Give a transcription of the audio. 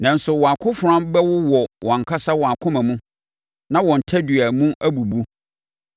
Nanso, wɔn akofena bɛwowɔ wɔn ankasa akoma mu, na wɔn tadua mu abubu.